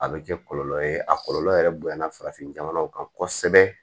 A bɛ kɛ kɔlɔlɔ ye a kɔlɔlɔ yɛrɛ bonyana farafin jamanaw kan kosɛbɛ